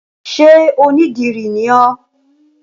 Ṣé onídìrí ni ọ́?